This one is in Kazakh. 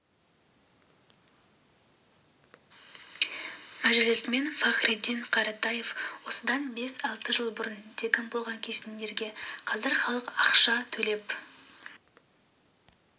мәжілісмен фахриддин қаратаев осыдан бес-алты жыл бұрын тегін болған кесенелерге қазір халық ақша төлеп